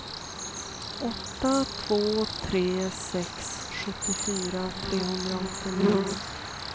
åtta två tre sex sjuttiofyra trehundraåttionio